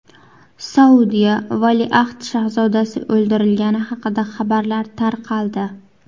Saudiya valiahd shahzodasi o‘ldirilgani haqida xabarlar tarqaldi.